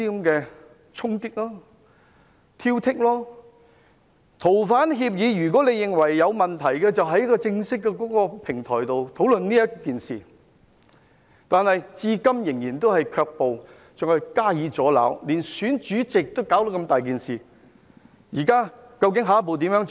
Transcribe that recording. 如果認為《逃犯條例》有問題，可以在正式的平台討論，但他們至今仍然卻步，更加以阻撓，連選舉主席也搞出如此大件事。